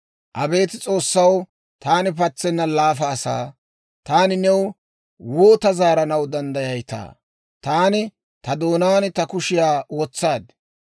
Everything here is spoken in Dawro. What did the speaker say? «Abeet S'oossaw, taani patsenna laafa asaa; taani new woota zaaranaw danddayayitaa? Taani ta doonaan ta kushiyaa wotsaad.